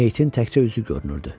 Meyitin təkcə üzü görünürdü.